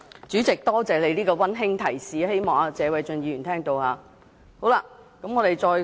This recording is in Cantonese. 主席，多謝你這個溫馨提示，希望謝偉俊議員聽到。